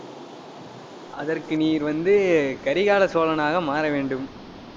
அதற்கு நீர் வந்து, கரிகால சோழனாக மாற வேண்டும்.